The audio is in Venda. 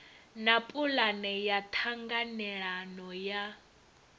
na pulane ya ṱhanganelano ya